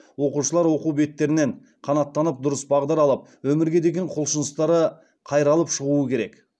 оқушылар оқу беттерінен қанаттанып дұрыс бағдар алып өмірге деген құлшыныстары қайралып шығуы керек